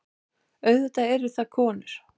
Auðvitað eru það konur.